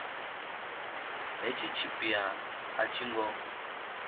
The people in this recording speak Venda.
hetshi tshipia a tshi ngo